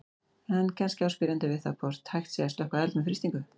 En kannski á spyrjandi við það hvort hægt sé að slökkva eld með frystingu.